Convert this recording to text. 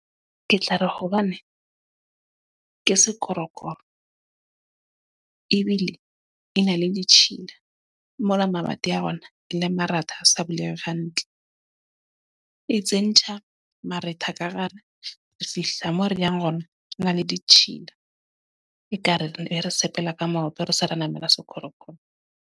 Ke tla re hobane, ke sekorokoro. Ebile e na le ditjhila. Mola mamati a hona le maratha a sa buleha hantle. E tsentsha maretha ka re re fihla mo re yang rona re na le ditjhila. Ekare re ne re sepela ka maoto, re se re namela sekorokoro.